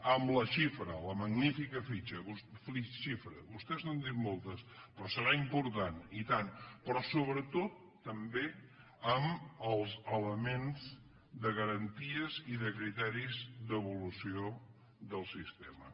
amb la xifra la magnífica xifra vostès n’han dit moltes però serà important i tant però sobretot també amb els elements de garanties i de criteris d’evolució del sistema